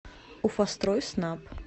уфастройснаб